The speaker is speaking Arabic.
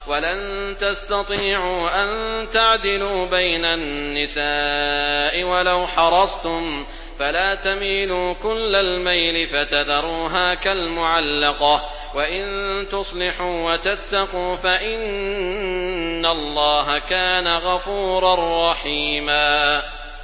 وَلَن تَسْتَطِيعُوا أَن تَعْدِلُوا بَيْنَ النِّسَاءِ وَلَوْ حَرَصْتُمْ ۖ فَلَا تَمِيلُوا كُلَّ الْمَيْلِ فَتَذَرُوهَا كَالْمُعَلَّقَةِ ۚ وَإِن تُصْلِحُوا وَتَتَّقُوا فَإِنَّ اللَّهَ كَانَ غَفُورًا رَّحِيمًا